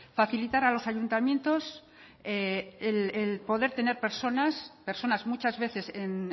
facilitar a los ayuntamientos el poder tener personas personas muchas veces en